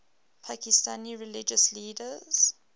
pakistani religious leaders